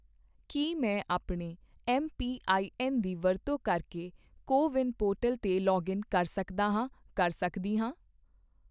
ਕੀ ਮੈਂ ਆਪਣੇ ਐੱਮਪੀਆਈਐੱਨ ਦੀ ਵਰਤੋਂ ਕਰਕੇ ਕੋ ਵਿੰਨ ਪੋਰਟਲ 'ਤੇ ਲਾਗਇਨ ਕਰ ਸਕਦਾ ਜਾਂ ਸਕਦੀ ਹਾਂ?